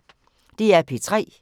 DR P3